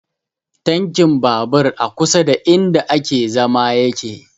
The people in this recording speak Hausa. Tankin babur a kusa da inda ake zama yake